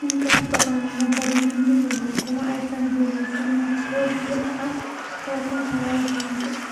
Inkastoo aan laga badinin, Liverpool kuma aysan guuleysan wax koob gudaha ah 2019.